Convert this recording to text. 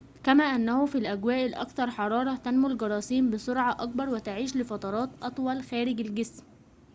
كما أنه في الأجواء الأكثر حرارةً تنمو الجراثيم بسرعةٍ أكبر وتعيش لفترات أطول خارج الجسم